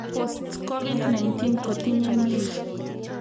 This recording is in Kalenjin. Post-COVID-19 kotinye mean